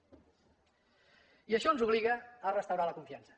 i això ens obliga a restaurar la confiança